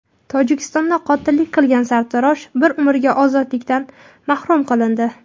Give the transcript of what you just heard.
Tojikistonda qotillik qilgan sartarosh bir umrga ozodlikdan mahrum qilindi.